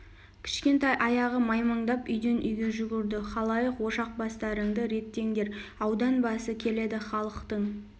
кішкентай аяғы маймаңдап үйден үйге жүгірді халайық ошақ бастарыңды реттеңдер аудан басы келеді халықтың